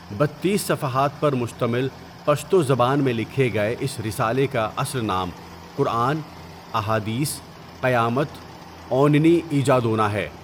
بتیس صفحات پرمشتمل پشتوزبان میں لکھے گئے اس رسالے کااصل نام قرآن، احادیث، قیامت او نني ايجادونه ہے.